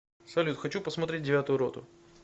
салют хочу посмотреть девятую роту